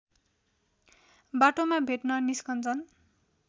बाटोमा भेट्न निस्कन्छन्